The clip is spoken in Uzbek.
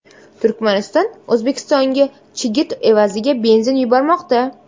Turkmaniston O‘zbekistonga chigit evaziga benzin yubormoqda.